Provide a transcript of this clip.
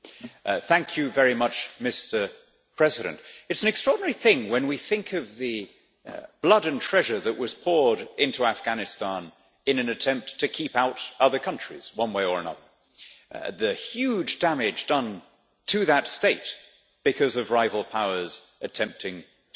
Mr President, it is an extraordinary thing when we think of the blood and treasure that was poured into Afghanistan in an attempt to keep out other countries one way or another, the huge damage done to that state because of rival powers attempting to gain influence there.